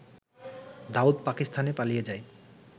দাউদ পাকিস্তানে পালিয়ে যায়